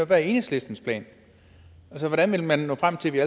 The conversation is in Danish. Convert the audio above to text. der er enhedslistens plan altså hvordan vil man nå frem til at vi